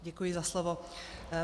Děkuji za slovo.